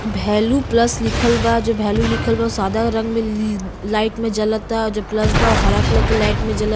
भैलू प्लस लिखल बा जो भैलू लिखल बा सादा रंग में ली लाइट में जलता जो प्लस बा हरा कलर के लाइट में जल --